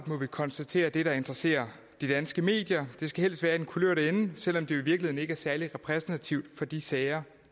må vi konstatere der interesserer de danske medier det skal helst være i den kulørte ende selv om det virkeligheden ikke er særlig repræsentativt for de sager